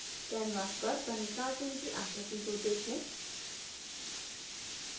canvas पर बने cartoon की आकृति को देखें